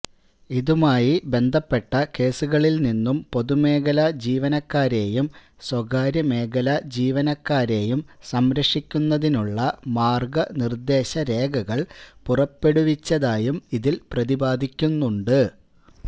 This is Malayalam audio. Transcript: ഇതുമായി ബന്ധപ്പെട്ട കേസുകളില് നിന്നും പൊതുമേഖലാ ജീവനക്കാരെയും സ്വകാര്യ മേഖലാ ജീവനക്കാരെയും സംരക്ഷിക്കുന്നതിനുള്ള മാര്ഗനിര്ദ്ദേശ രേഖകള് പുറപ്പെടുവിച്ചതായും ഇതില് പ്രതിപാദിക്കുന്നുണ്ട്